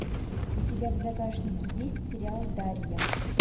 у тебя в загашнике есть сериал дарья